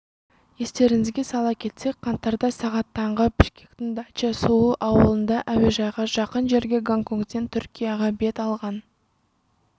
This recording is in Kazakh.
естеріңізге сала кетсек қаңтарда сағат таңғы бішкектің дача-суу ауылында әуежайға жақын жерде гонконгтен түркияға бет алған